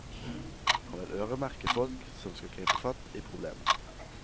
Han vil øremerke folk som skal gripe fatt i problemet.